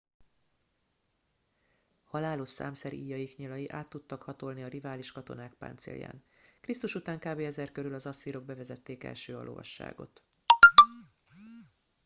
halálos számszeríjaik nyilai át tudtak hatolni a rivális katonák páncélján krisztus után kb 1000 körül az asszírok bevezették első a lovasságot